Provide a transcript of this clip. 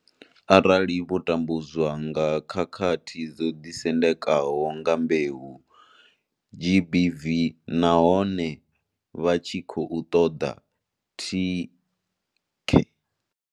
Arali vho tambudzwa nga zwa khakhathi dzo ḓisendekaho nga mbeu, GBV nahone vha tshi khou ṱoḓa thikhe.